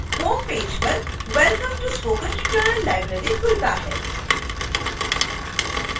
homepage welcome to spoken tutorial library खुलता है